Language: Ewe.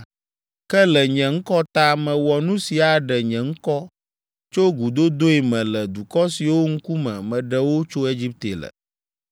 Ke le nye ŋkɔ ta, mewɔ nu si aɖe nye ŋkɔ tso gudodoe me le dukɔ siwo ŋkume meɖe wo tso Egipte le.